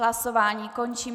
Hlasování končím.